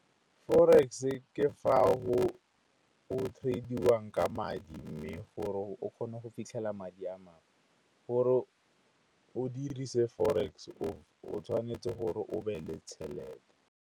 Forex-e ke fa go trade-iwang ka madi mme gore o kgone go fitlhela madi a mangwe gore o dirise forex, o tshwanetse gore o be le tšhelete.